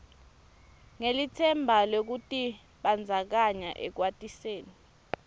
ngelitsemba lwekutibandzakanya ekwatiseni